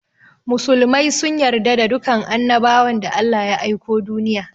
Musulmai sun yarda da dukan annabawan da Allah ya aiko duniya.